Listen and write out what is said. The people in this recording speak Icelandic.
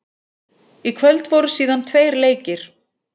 Í kvöld voru síðan tveir leikir.